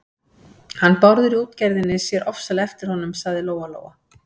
Hann Bárður í útgerðinni sér ofsalega eftir honum, sagði Lóa-Lóa.